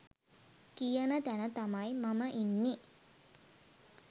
කියන තැන තමයි මම ඉන්නෙ.